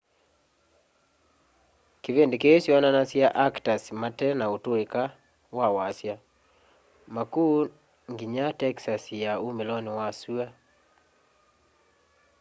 kivindi kii kyoonanasya akitas mate na utuika ma wasya makuu nginya texas ya umiloni wa sua